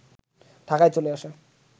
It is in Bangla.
ঢাকায় চলে আসে